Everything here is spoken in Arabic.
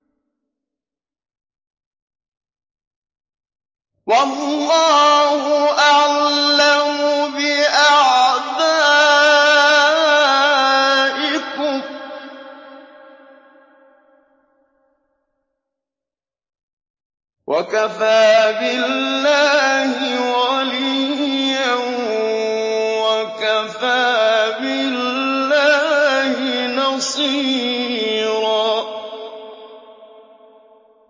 وَاللَّهُ أَعْلَمُ بِأَعْدَائِكُمْ ۚ وَكَفَىٰ بِاللَّهِ وَلِيًّا وَكَفَىٰ بِاللَّهِ نَصِيرًا